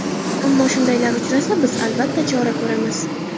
Ammo shundaylar uchrasa, biz, albatta, chora ko‘ramiz.